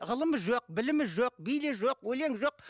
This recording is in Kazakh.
ғылымы жоқ білімі жоқ биі жоқ өлең жоқ